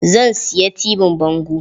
Zan siya tibin bango.